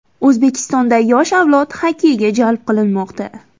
O‘zbekistonda yosh avlod xokkeyga jalb qilinmoqda.